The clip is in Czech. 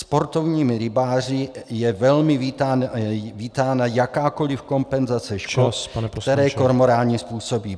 Sportovními rybáři je velmi vítána jakákoli kompenzace škod , které kormoráni způsobí.